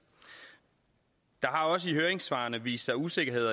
der har også i høringssvarene vist sig usikkerhed